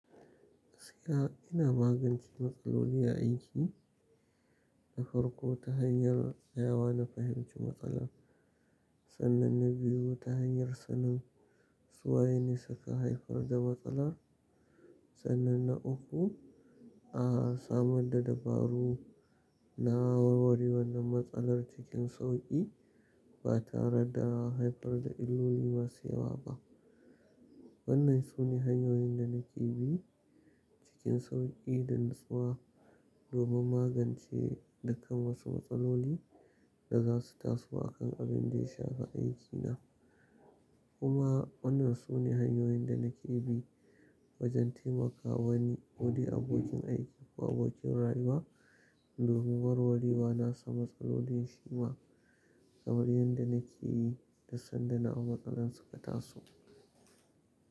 Gaskiya ina magance matsaloli a aiki da farko ta hanyar tsayawa na fahimci matsalar, sannan na biyu ta hanyar sanin su waye ne suka haifar da matsalar, sannan na uku a samar da dabaru na warware wannan matsalar cikin sauƙi ba tare da haifar da illoli masu yawa ba. Wannan sune hanyoyin da nake bi cikin sauƙi da natsuwa domin magance dukkan wasu matsaloli da zasu taso a kan abinda ya shafi aikina. Kuma wannan sune hanyoyin da nake bi wajen taimakawa wani wuri abokin aiki ko abokin rayuwa domin warwarewa nasa matsalolin shima kamar yadda nake yi duk sanda nawa matsalan suka taso.